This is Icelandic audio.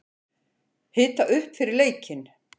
Hita upp fyrir leikinn?